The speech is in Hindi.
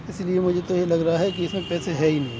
इसलिए मुझे तो ये लग रहा है कि इसमें पैसे है ही नहीं।